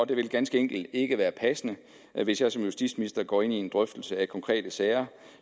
det vil ganske enkelt ikke være passende hvis jeg som justitsminister går ind i en drøftelse af konkrete sager